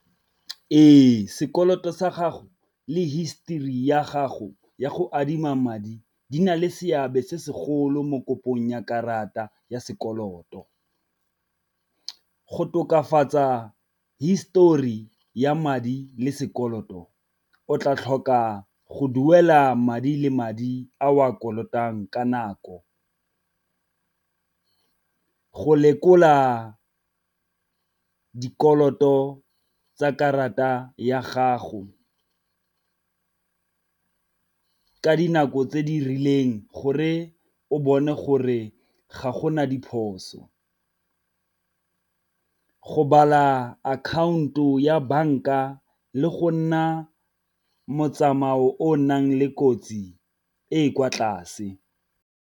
Ee, sekoloto sa gago le histori ya gago ya go adima madi di na le seabe se segolo mo kopong ya karata ya sekoloto, go tokafatsa histori ya madi le sekoloto o tla tlhoka go duela madi le madi a o a kolotang ka nako. Go lekola dikoloto tsa karata ya gago ka dinako tse di rileng gore o bone gore ga gona diphoso. Go bala akhaonto ya banka le go nna motsamao o nang le kotsi e e kwa tlase.